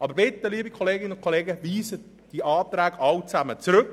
Aber bitte, liebe Kolleginnen und Kollegen, ziehen Sie alle diese Anträge zurück.